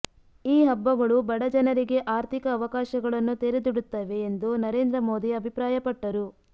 ಈ ಹಬ್ಬಗಳು ಬಡ ಜನರಿಗೆ ಆರ್ಥಿಕ ಅವಕಾಶಗಳನ್ನು ತೆರೆದಿಡುತ್ತವೆ ಎಂದು ನರೇಂದ್ರ ಮೋದಿ ಅಭಿಪ್ರಾಯಪಟ್ಟರು